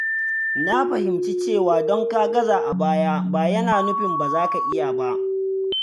Na fahimci cewa don ka gaza a baya ba yana nufin ba za ka iya ba.